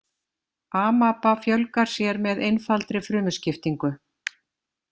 Amaba fjölgar sér með einfaldri frumuskiptingu.